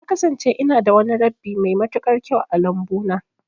Na kasance ina da wani rabbi mai matuƙar kyau a lambu na.